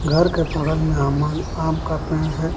घर के बगल मे अमन आम का पेड़ है।